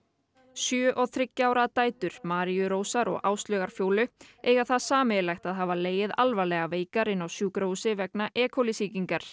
sjö og þriggja ára dætur Maríu Rósar og Áslaugar Fjólu eiga það sameiginlegt að hafa legið alvarlega veikar inn á sjúkrahúsi vegna e coli sýkingar